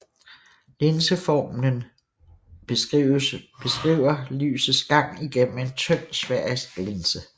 Linseformlen beskriver lysets gang igennem en tynd sfærisk linse